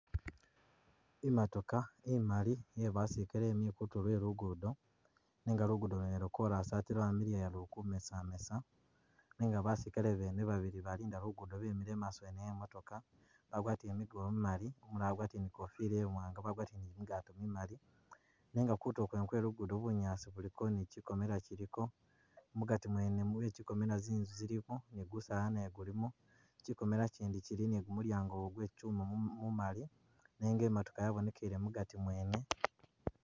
Imatoka imaali iye basilikale ili kutulo kwe lugudo nega lugudo lwene lwo' korasi ate lwamiliya luli kumesamesa nenga basilikale bene babili abalinda lugudo bemile imaaso wene we imooka bagwatile migubo mimali iumulala agwatile ne ikofila iwanga bagwatile ne kimigato kimimali nenga kutulo kwene kwe lugudo bunyaasi buliko ne kikomela kiliko mugati mwene mubikomela zinzu zilimo ne gusaala nagwo gulimo chikomela ichindi chili ne gumulyango gwe chichuma mumali nenga imatoka yaboneke mugati mwene.